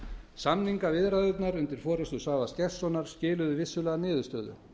samningaviðræðurnar undir forustu svavars gestssonar skiluðu vissulega niðurstöðu